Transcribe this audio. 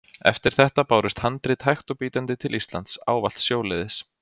Eftir þetta bárust handrit hægt og bítandi til Íslands, ávallt sjóleiðis.